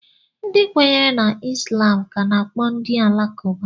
Ndị kwenyere na Islam ka a na-akpọ ndị Alakụba.